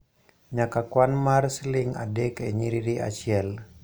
nyaka kwan mar siling' adek e nyiriri achiel.